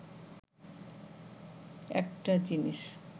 একটা জিনিস